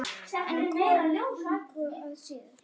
En kona engu að síður.